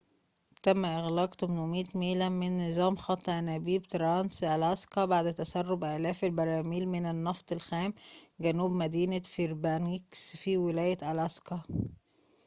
تم إغلاق 800 ميلاً من نظام خط أنابيب ترانس ألاسكا بعد تسرب آلاف البراميل من النفط الخام جنوب مدينة فيربانكس في ولاية ألاسكا